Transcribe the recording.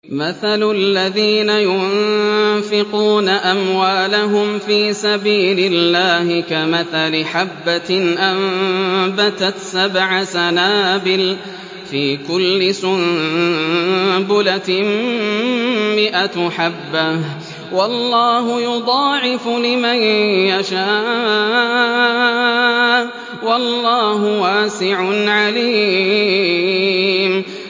مَّثَلُ الَّذِينَ يُنفِقُونَ أَمْوَالَهُمْ فِي سَبِيلِ اللَّهِ كَمَثَلِ حَبَّةٍ أَنبَتَتْ سَبْعَ سَنَابِلَ فِي كُلِّ سُنبُلَةٍ مِّائَةُ حَبَّةٍ ۗ وَاللَّهُ يُضَاعِفُ لِمَن يَشَاءُ ۗ وَاللَّهُ وَاسِعٌ عَلِيمٌ